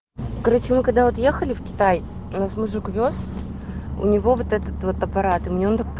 короче мы когда вот ехали в китай нас мужик увёз у него вот этот вот аппарат и мне он так пон